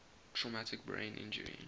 traumatic brain injury